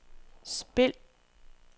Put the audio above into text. spil